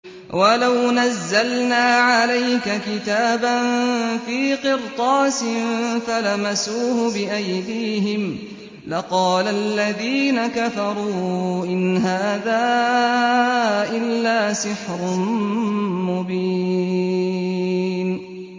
وَلَوْ نَزَّلْنَا عَلَيْكَ كِتَابًا فِي قِرْطَاسٍ فَلَمَسُوهُ بِأَيْدِيهِمْ لَقَالَ الَّذِينَ كَفَرُوا إِنْ هَٰذَا إِلَّا سِحْرٌ مُّبِينٌ